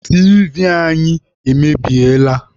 Tiivi anyị emebiela.